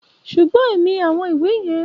Ṣùgbọ́n èmi àwọn ìwé yẹn